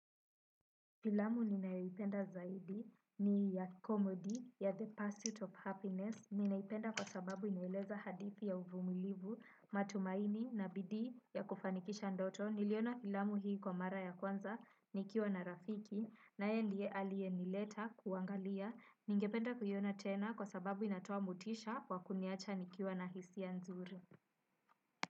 Filamu ninayoipenda zaidi ni ya comedy ya the pursuit of happiness. Ninaipenda kwa sababu inaeleza hadithi ya uvumilivu, matumaini na bidii ya kufanikisha ndoto. Niliona filamu hii kwa mara ya kwanza nikiwa na rafiki. Naye ndiye aliye ni letter kuangalia. Ningependa kuiona tena kwa sababu inatoa motisha kwa kuniacha nikiwa na hisi ya nzuri.